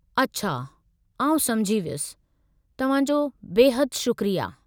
अछा आउं समझी वियसि। तव्हां जो बेहदि शुक्रिया।